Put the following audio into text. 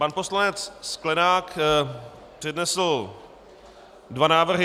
Pan poslanec Sklenák přednesl dva návrhy.